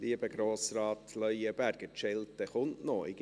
Lieber Grossrat Leuenberger, die Schelte kommt noch: